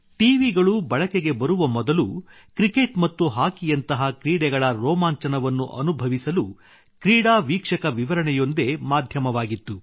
ಟಿವಿಗಳು ಬಳಕೆಗೆ ಬರುವ ಮೊದಲು ಕ್ರಿಕೆಟ್ ಮತ್ತು ಹಾಕಿಯಂತಹ ಕ್ರೀಡೆಗಳ ರೋಮಾಂಚನವನ್ನು ಅನಭವಿಸಲು ಕ್ರೀಡಾ ವೀಕ್ಷಕ ವಿವರಣೆಯೊಂದೇ ಮಾಧ್ಯಮವಾಗಿತ್ತು